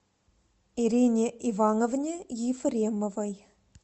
ирине ивановне ефремовой